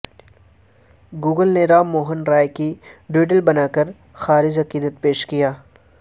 Google نے رام موہن رائے کا doodle بناکر خراج عقیدت پیش کیا